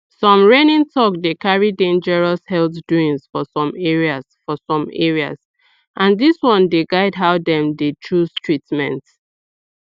some reigning talk dey carry dangerous health doings for some areas for some areas and dis one dey guide how dem dey chose treatment